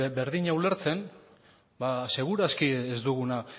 berdina ulertzen seguru aski ez dugula